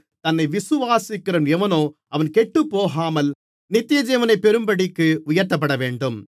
தன்னை விசுவாசிக்கிறவன் எவனோ அவன் கெட்டுப்போகாமல் நித்தியஜீவனை பெறும்படிக்கு உயர்த்தப்பட வேண்டும்